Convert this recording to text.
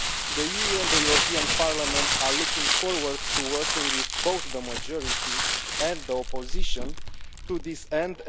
The EU and the European Parliament are looking forward to working with both the majority and the opposition to this end.